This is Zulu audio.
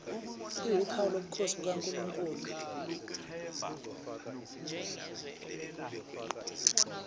iwuphawu lobukhosi bukankulunkulu